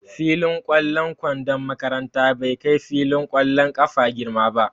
Fillin ƙwallon kwandon makaranta bai kai filin ƙwallon ƙafa girma ba.